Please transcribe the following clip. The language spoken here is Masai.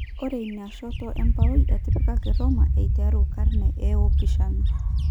Ore ina shoto embaoi etipikaki Roma eiteru karne eopishana.